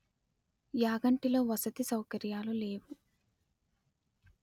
యాగంటిలో వసతి సౌకర్యాలు లేవు